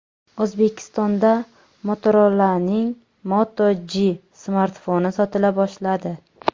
O‘zbekistonda Motorola’ning Moto G smartfoni sotila boshladi.